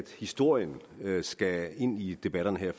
historien skal ind i debatterne her